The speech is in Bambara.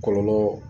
Kɔlɔlɔ